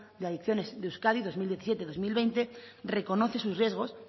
de adicciones de euskadi dos mil diecisiete dos mil veinte reconoce sus riesgos